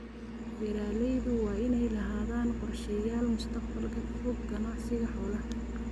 Beeralaydu waa inay lahaadaan qorshayaal mustaqbalka fog ganacsiga xoolaha.